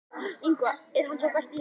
Er hann sá besti í heimi?